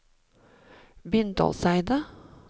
Bindalseidet